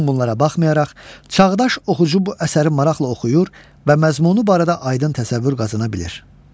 Bütün bunlara baxmayaraq, çağdaş oxucu bu əsəri maraqla oxuyur və məzmunu barədə aydın təsəvvür qazana bilir.